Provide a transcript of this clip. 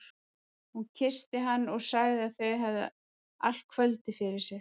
Hún kyssti hann og sagði að þau hefðu allt kvöldið fyrir sér.